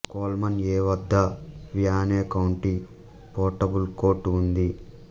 Coleman A వద్ద Wayne county portable court ఉంది